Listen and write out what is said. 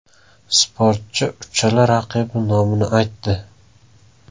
Sportchi uchala raqibi nomini aytdi.